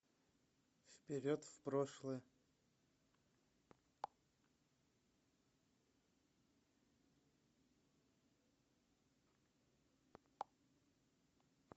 вперед в прошлое